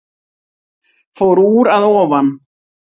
Fór úr að ofan